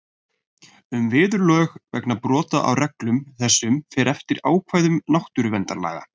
Um viðurlög vegna brota á reglum þessum fer eftir ákvæðum náttúruverndarlaga.